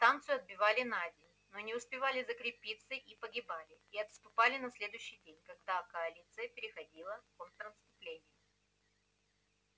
станцию отбивали на день но не успевали закрепиться и погибали и отступали на следующий день когда коалиция переходила в контрнаступление